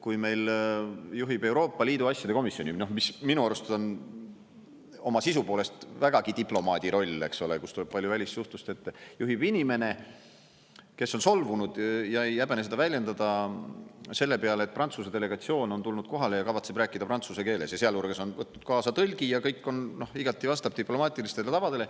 Kui meil juhib Euroopa Liidu asjade komisjoni, mis minu arust on oma sisu poolest vägagi diplomaadi roll, eks ole, kus tuleb palju välissuhtlust ette, juhib inimene, kes on solvunud, ja ei häbene seda väljendada, selle peale, et Prantsuse delegatsioon on tulnud kohale ja kavatseb rääkida prantsuse keeles, sealhulgas on võtnud kaasa tõlgi, ja kõik igati vastab diplomaatilistele tavadele.